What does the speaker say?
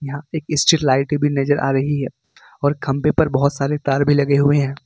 यहां एक street light भी नजर आ रही है और खंभे पर बहुत सारे तार भी लगे हुए हैं।